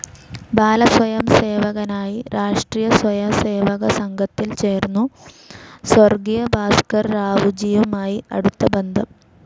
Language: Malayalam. ബാലസ്വയംസേവകനായി രാഷ്ട്രിയ സ്വയം സേവക സംഘത്തിൽ ചേർന്നു, സ്വർഗീയ ഭാസ്ക്കർ റാവുജിയുമായി അടുത്ത ബന്ധം.